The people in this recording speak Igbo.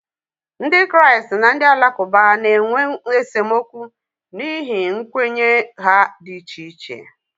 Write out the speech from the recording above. Ndị Kraịst na ndị Alakụba na-enwe esemokwu n'ihi nkwenye ha dị iche iche